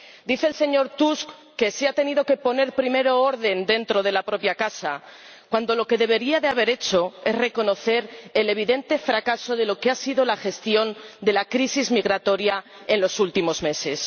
Dice el señor Tusk que se ha tenido que poner primero orden dentro de la propia casa, cuando lo que debería haber hecho es reconocer el evidente fracaso de la gestión de la crisis migratoria en los últimos meses.